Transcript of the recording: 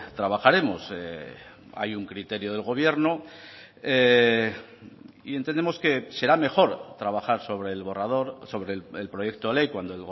trabajaremos hay un criterio del gobierno y entendemos que será mejor trabajar sobre el borrador sobre el proyecto de ley cuando